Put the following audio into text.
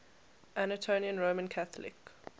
anatolian roman catholic